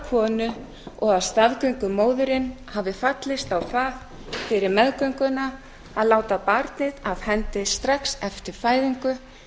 konu og að staðgöngumóðirin hafi fallist á það fyrir meðgönguna að láta barnið af hendi strax eftir fæðingu